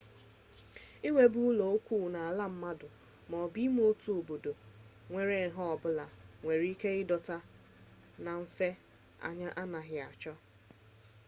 iwube ụlọikwuu n'ala mmadụ ma ọ bụ n'ime otu obodo nwere nha ọ bụla nwere ike ịdọta na mfe anya a na-achọghị